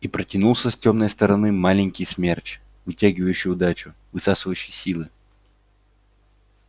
и протянулся с тёмной стороны маленький смерч вытягивающий удачу высасывающий силы